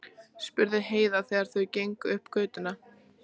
spurði Heiða þegar þau gengu upp götuna.